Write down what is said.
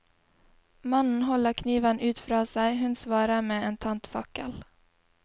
Mannen holder kniven ut fra seg, hun svarer med en tent fakkel.